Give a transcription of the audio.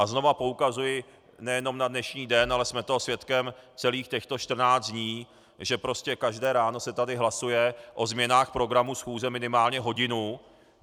A znova poukazuji nejenom na dnešní den, ale jsme toho svědkem celých těchto 14 dní, že prostě každé ráno se tady hlasuje o změnách programu schůze minimálně hodinu.